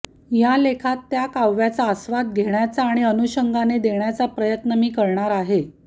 या लेखात त्या काव्याचा आस्वाद घेण्याचा आणि अनुषंगाने देण्याचा प्रयत्न मी करणार आहे